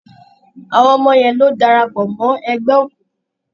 Àwọn ọmọ yẹn ló darapọ̀ mọ́ ẹgbẹ́ òkùnkùn.